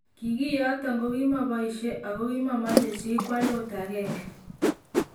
Kiy kiyoton ko kimoboishe ,ako kimomoche chi kwal ot agenge.